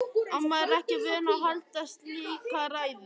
Amma er ekki vön að halda slíka ræðu.